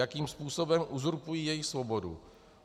Jakým způsobem uzurpují jejich svobodu?